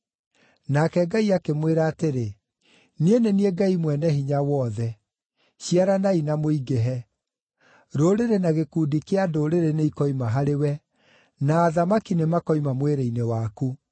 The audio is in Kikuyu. Nake Ngai akĩmwĩra atĩrĩ, “Niĩ nĩ niĩ Ngai Mwene-Hinya-Wothe; ciaranai na mũingĩhe. Rũrĩrĩ na gĩkundi kĩa ndũrĩrĩ nĩikoima harĩwe, na athamaki nĩmakoima mwĩrĩ-inĩ waku.